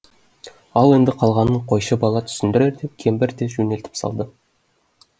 ал енді қалғанын қойшы бала түсіндірер деп кемпір де жөнелтіп салды